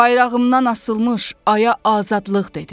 Bayrağımdan asılmış aya azadlıq dedim.